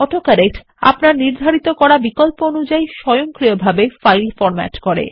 auto correct আপনার নির্ধারিত করা বিকল্প অনুযায়ী স্বয়ংক্রিয়ভাবে ফাইল ফরম্যাট করে